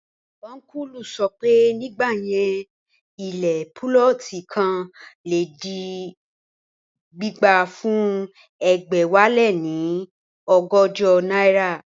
Ọ́nkùlù sọ pé, nígbà yẹn ilẹ̀ púlọ̀tì kan le di gbígbà fún ẹgbẹ̀wáléní ọgọ́jọ náírà